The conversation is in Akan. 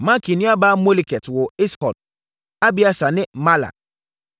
Makir nuabaa Moleket woo Is-Hod, Abieser ne Mahla.